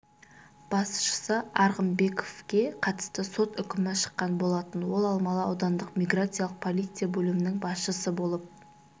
басшысы арғынбековке қатысты сот үкімі шыққан болатын ол алмалы аудандық миграциялық полиция бөлімінің басшысы болып